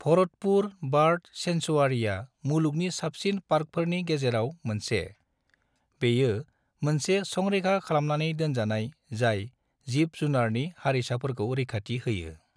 भरतपुर बार्द सेंक्सुवारिआ मुलुगनि साबसिन पार्कफोरनि गेजेराव मोनसे; बेयो मोनसे संरैखा खालामनानै दोनजानाय जाय जिब-जुनारनि हारिसाफोरखौ रैखाथि होयो।